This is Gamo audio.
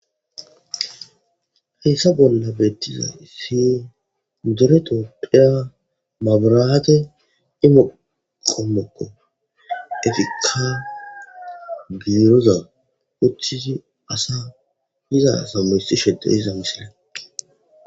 Haysa bolla betizaysi dere tophiya maburatey immo kifileko. Izika birozan uttidi asaza iza asa woxishe de'izaysako.